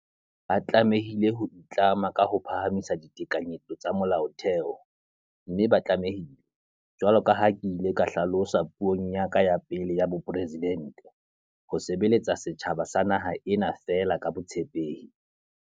Ba tlameha ho itlama ka ho phahamisa ditekanyetso tsa Molaotheo, mme ba tlame hile, jwalo ka ha ke ile ka hla losa puong ya ka ya pele ya bopresidente, ho sebeletsa setjhaba sa naha ena feela ka botshepehi.